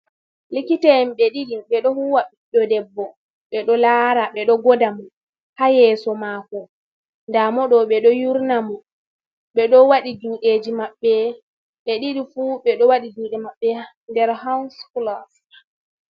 Likita en be ɗidi be do huwa ɓido debbo be do lara ɓe do goda mo ha yeso mako da mo do ɓe do yurna mo bedo wadi judeji mabɓe be ɗidi fu ɓedo wadi jude maɓɓe nder hans glos.